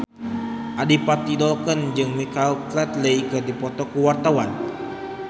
Adipati Dolken jeung Michael Flatley keur dipoto ku wartawan